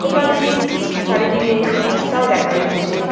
দোকানটির চারিদিকে রাস্তাও দেখা যাচ্ছে।